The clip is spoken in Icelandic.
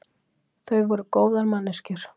Þau voru góðar manneskjur.